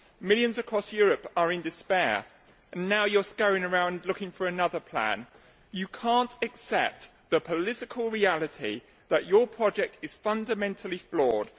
Millions across Europe are in despair, and now you are scurrying around looking for another plan. You cannot accept the political reality that your project is fundamentally flawed.